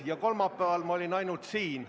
Ja kolmapäeval ma olin ainult siin.